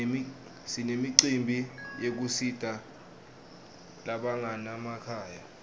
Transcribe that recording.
sinemicimbi yekusita labanganamakhaya